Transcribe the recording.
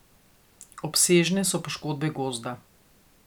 Obsežne so poškodbe gozda.